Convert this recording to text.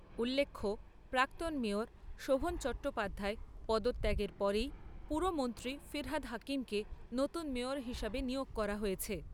উল্লেখ্য, প্রাক্তন মেয়র শোভন চট্টোপাধ্যায় পদত্যাগের পরেই পুরমন্ত্রী ফিরহাদ হাকিমকে নতুন মেয়র হিসাবে নিয়োগ করা হয়েছে।